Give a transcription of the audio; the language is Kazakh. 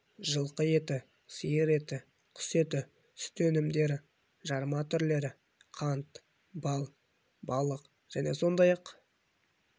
жылқы еті сиыр еті құс еті сүт өнімдері жарма түрлері қант бал балық және сондай-ақ